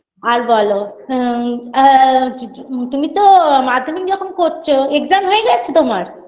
আর বলো হুঁম আ কি কি তুমি তো মাধ্যমিক যখন করছো exam হয়ে গেছে তোমার